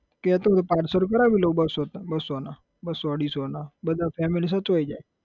કહેતો હોય તો parcel કરાવી લાવું બસ્સો ના બસ્સો ના બસ્સો અઢીસો ના બધા family સચવાઈ જાય.